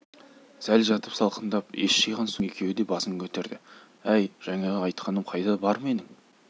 сәл жатып салқындап ес жиған соң екеуі де басын көтерді әй жаңағы айтқаным қайда бар менің